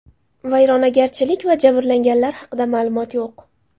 Vayronagarchilik va jabrlanganlar haqida ma’lumot yo‘q.